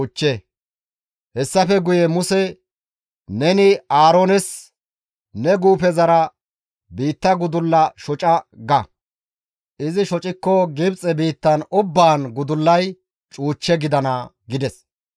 Hessafe guye GODAY Muse, «Neni Aaroones, ‹Ne guufezara, biitta gudulla shoca› ga; izi shocikko Gibxe biitta ubbaan gudullay cuuch gidana» gides.